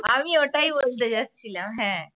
আমি ওটাই বলতে যাচ্ছিলাম হ্যাঁ।